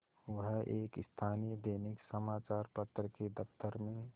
वह एक स्थानीय दैनिक समचार पत्र के दफ्तर में